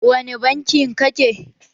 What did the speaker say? Wani banki ka ke?